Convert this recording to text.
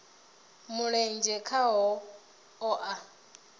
mulenzhe khaho vha o a